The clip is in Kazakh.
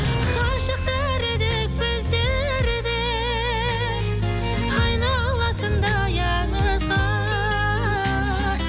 ғашықтар едік біздер де айналатындай аңызға